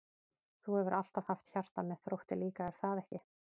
Þú hefur alltaf haft hjarta með Þrótti líka er það ekki?